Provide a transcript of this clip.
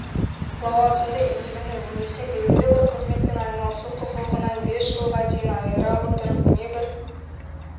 лауазымды иелену немесе белгілі бір қызметпен айналысу құқығынан бес жылға дейін айыра отырып не бір